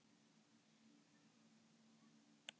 Ég var ekki vanur því.